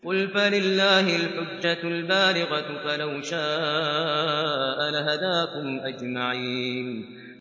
قُلْ فَلِلَّهِ الْحُجَّةُ الْبَالِغَةُ ۖ فَلَوْ شَاءَ لَهَدَاكُمْ أَجْمَعِينَ